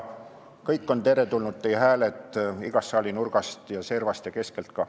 Kõik on teretulnud, teie hääled igast saali nurgast ja servast ja keskelt ka.